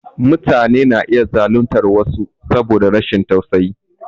Mutane na iya zaluntar wasu saboda rashin tausayi.